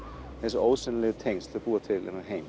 þessi ósýnilegu tengsl þau búa til þennan heim